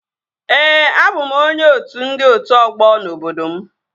Ee, abụ m onye otu ndị otu ọgbọ n'obodo m